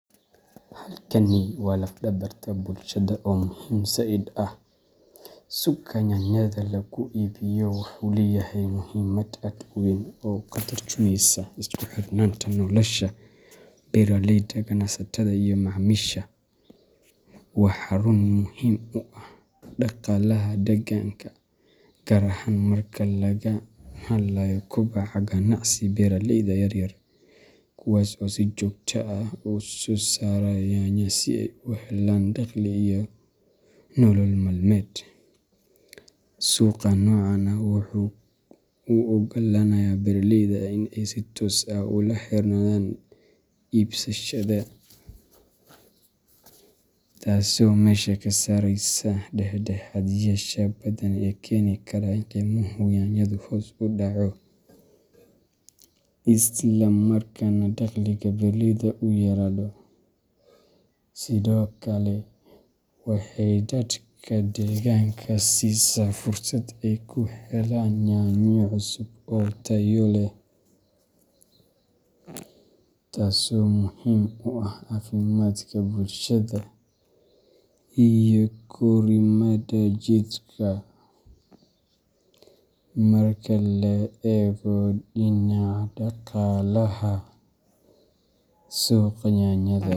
Halkani waa laf dabarta bulshada oo muhim zaid ah. Suuqa yaanyada lagu iibiyo wuxuu leeyahay muhiimad aad u weyn oo ka tarjumaysa isku xirnaanta nolosha beeraleyda, ganacsatada, iyo macaamiisha. Waa xarun muhiim u ah dhaqaalaha deegaanka, gaar ahaan marka laga hadlayo kobaca ganacsiga beeraleyda yar yar, kuwaasoo si joogto ah u soo saara yaanyo si ay u helaan dakhli iyo nolol maalmeed. Suuqa noocan ah wuxuu u oggolaanayaa beeraleyda in ay si toos ah ula xiriiraan iibsadayaasha, taasoo meesha ka saaraysa dhexdhexaadiyeyaasha badan ee keeni kara in qiimaha yaanyadu hoos u dhaco, islamarkaana dakhliga beeraleyda uu yaraado. Sidoo kale, waxay dadka deegaanka siisaa fursad ay ku helaan yaanyo cusub oo tayo leh, taasoo muhiim u ah caafimaadka bulshada iyo korriimada jidhka. Marka la eego dhinaca dhaqaalaha, suuqa yaanyada .